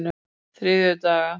þriðjudaga